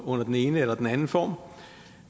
under den ene eller den anden form